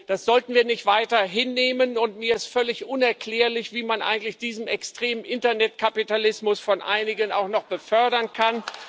Das sollten wir nicht weiter hinnehmen, und mir ist völlig unerklärlich, wie man eigentlich diesen extremen Internetkapitalismus von einigen auch noch befördern kann.